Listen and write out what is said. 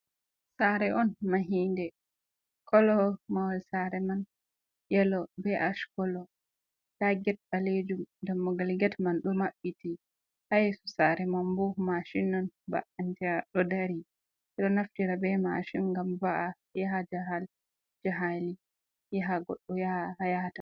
Sare on mahinɗe kolo mawal sare man yelo, be ash kolo. Nɗa get balejum. Ɗammogal get man ɗo mabbiti ha yesu sare man bo mashin non, ba’anta, ɗo ɗari eɗo naftira be mashin ngam va’a yaha jaral ja haili, yaha goɗɗo yahata.